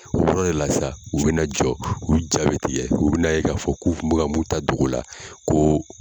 O yɔrɔ de la sa, u bɛna jɔ , u ja bi tigɛ, u bɛna a ye ka fɔ k'u kun bɛ ka min ta dogo la ko.